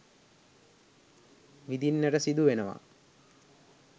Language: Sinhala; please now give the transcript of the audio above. විඳින්නට සිදු වෙනවා.